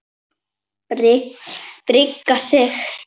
Bragi Sig.